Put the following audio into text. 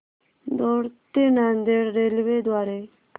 दौंड ते नांदेड रेल्वे द्वारे